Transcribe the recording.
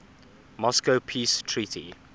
moscow peace treaty